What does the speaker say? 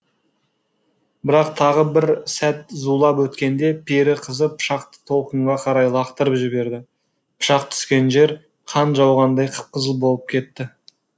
бірақ тағы бір сәт зулап өткенде пері қызы пышақты толқынға қарай лақтырып жіберді пышақ түскен жер қан жауғандай қып қызыл болып кетті